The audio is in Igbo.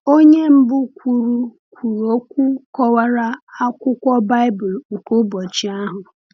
Onye mbụ kwuru kwuru okwu kọwara akwụkwọ Baịbụl nke ụbọchị ahụ.